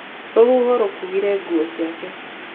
Rũhuho rũkuire nguo ciake.